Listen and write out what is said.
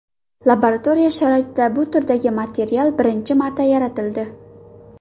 Laboratoriya sharoitida bu turdagi material birinchi marta yaratildi.